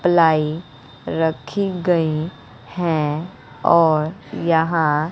ply रखी गई है और यहां--